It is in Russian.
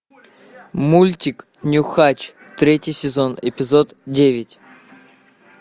мультик нюхач третий сезон эпизод девять